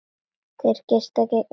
Þeir geysast gegnum loftið.